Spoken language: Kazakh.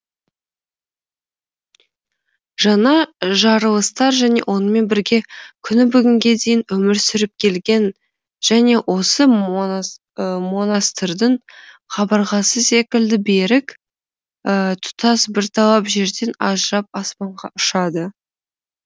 жаңа жарылыстар және онымен бірге күні бүгінге дейін өмір сүріп келген және осы монастырьдың қабырғасы секілді берік тұтас бір талап жерден ажырап аспанға ұшады